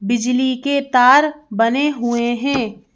बिजली के तार बने हुए हैं।